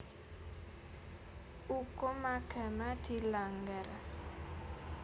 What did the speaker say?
Ukum agama dilanggar